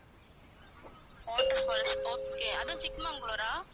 water falls okay அதுவும் சிக்மங்களூரா